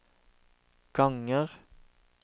ganger